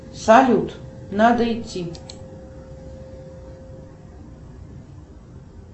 салют надо идти